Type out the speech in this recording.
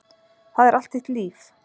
Það er allt þitt líf.